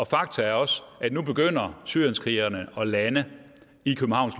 fakta er også at nu begynder syrienskrigerne at lande i københavns